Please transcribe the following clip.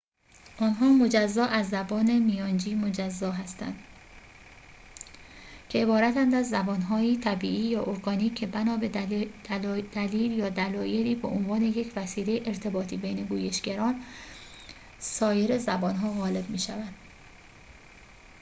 آنها مجزا از زبان میانجی مجزا هستند که عبارتند از زبان‌هایی طبیعی یا ارگانیک که بنا به دلیل یا دلایلی به عنوان یک وسیله ارتباطی بین گویشگران سایر زبانها غالب می‌شوند